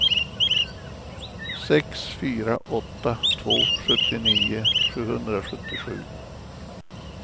sex fyra åtta två sjuttionio sjuhundrasjuttiosju